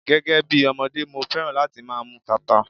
Gẹ́gẹ́ bí ọmọdé, mo féràn láti máa mú tata.